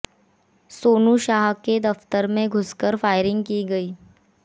सोनू शाह के दफतर में घुसकर फायरिंग की गई